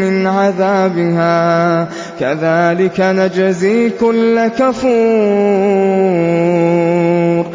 مِّنْ عَذَابِهَا ۚ كَذَٰلِكَ نَجْزِي كُلَّ كَفُورٍ